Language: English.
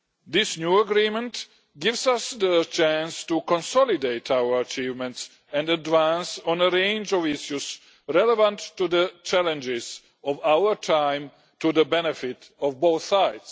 This new agreement gives us the chance to consolidate our achievements and advance on a range of issues relevant to the challenges of our time, to the benefit of both sides.